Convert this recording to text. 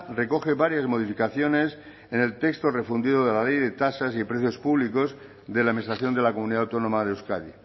recoge varias modificaciones en el texto refundido de la ley de tasas y precios públicos de la administración de la comunidad autónoma de euskadi